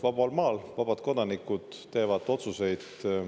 Vabal maal vabad kodanikud teevad otsuseid.